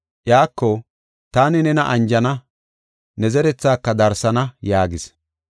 Iyako, “Taani nena anjana; ne zerethaaka darsana” yaagis.